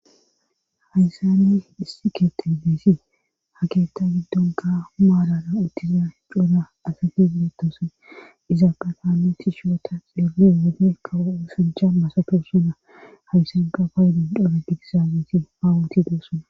Haysani issi keetebeesi ha keetta giddon ka maalara uttiza hi couna asati mitosan izaaqefaane tishyota xeelin wone kawosujha masato suna hayssanka paaydun dhole digizaabeti awunti desuna.